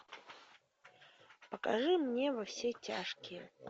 покажи мне во все тяжкие